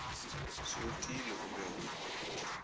se otile o be o